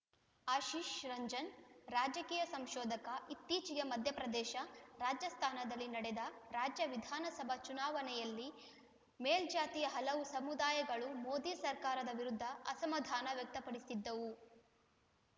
ಆಶಿಶ್‌ ರಂಜನ್‌ ರಾಜಕೀಯ ಸಂಶೋಧಕ ಇತ್ತೀಚೆಗೆ ಮಧ್ಯಪ್ರದೇಶ ರಾಜಸ್ಥಾನದಲ್ಲಿ ನಡೆದ ರಾಜ್ಯ ವಿಧಾನಸಭಾ ಚುನಾವಣೆಯಲ್ಲಿ ಮೇಲ್ಜಾತಿಯ ಹಲವು ಸಮುದಾಯಗಳು ಮೋದಿ ಸರ್ಕಾರದ ವಿರುದ್ಧ ಅಸಮಾಧಾನ ವ್ಯಕ್ತಪಡಿಸಿದ್ದವು